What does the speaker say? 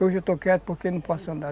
Hoje eu estou quieto porque não posso andar.